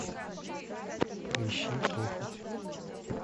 поищи похоть